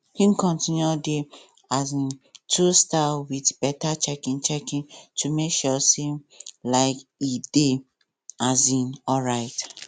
him continue the um two style with better checking checking to make sure say um e dey um alright